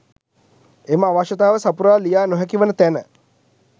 එම අවශ්‍යතාව සපුරා ලිය නොහැක වන තැන